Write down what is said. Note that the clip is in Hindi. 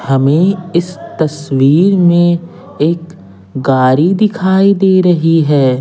हमें इस तस्वीर में एक गाड़ी दिखाई दे रही है।